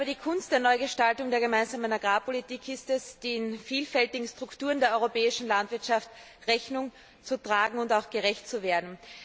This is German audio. Die Kunst der Neugestaltung der Gemeinsamen Agrarpolitik ist es, den vielfältigen Strukturen der europäischen Landwirtschaft Rechnung zu tragen und auch gerecht zu werden.